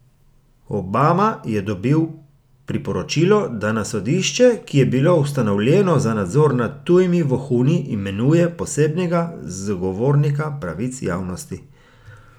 Obama je dobil priporočilo, da na sodišče, ki je bilo ustanovljeno za nadzor nad tujimi vohuni, imenuje posebnega zagovornika pravic javnosti.